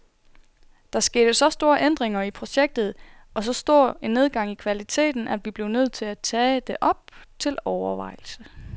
Der skete så store ændringer i projektet og så stor en nedgang i kvaliteten, at vi blev nødt til at tage det op til overvejelse.